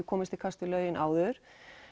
komist í kast við lögin áður